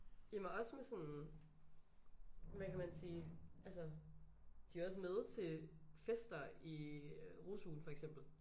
Jamen også med sådan hvad kan man sige altså de er også med til fester i øh rusugen for eksempel